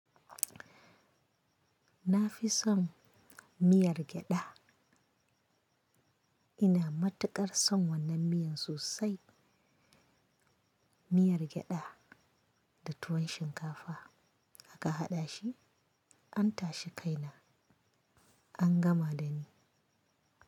Na fi son miyar gyada. Ina matuƙar son wannan miyan sosai. Miyar gyada da tuwon shinkafa aka haɗa shi, an tashi kaina, an gama da ni.